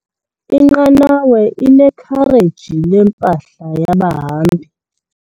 Inqanawa inekhareji lempahla yabahambi.